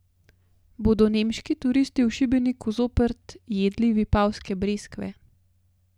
Bodo nemški turisti v Šibeniku zopet jedli vipavske breskve?